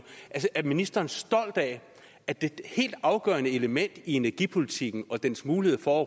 er ministeren stolt af at det helt afgørende element i energipolitikken og dens mulighed for